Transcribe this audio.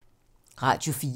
Radio 4